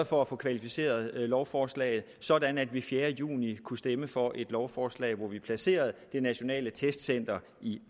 for at få kvalificeret lovforslaget sådan at vi den fjerde juni kunne stemme for et lovforslag hvormed vi placerede det nationale testcenter i